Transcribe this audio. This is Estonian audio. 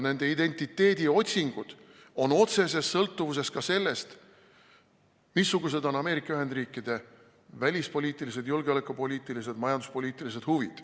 Nende identiteediotsingud on otseses sõltuvuses ka sellest, missugused on Ameerika Ühendriikide välispoliitilised, julgeolekupoliitilised ja majanduspoliitilised huvid.